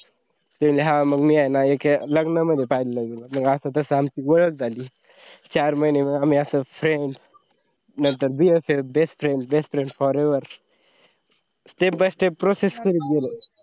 ती म्हणाली हा मग मी ते ना एका लग्न मधी पाहिलंय म्हणे मग असा तसा आमची ओळख झाली मग चार महीने आमि अस friend नंतर bff best friend best friend forever step by step process करत गेलो.